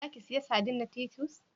Za ki siya sadin na Titus?